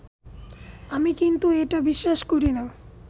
আমি কিন্তু এটা বিশ্বাস করি না